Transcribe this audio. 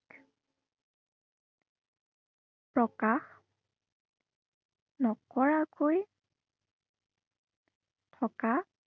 প্ৰকাশ নকৰাকৈ থকা